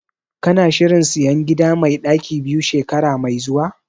Kana shirin sayan gida mai ɗaki biyu shekara mai zuwa?